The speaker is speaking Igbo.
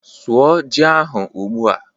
Sụọ ji ahu ugbu a